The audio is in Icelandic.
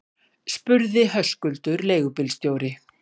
spurði Höskuldur leigubílstjóri.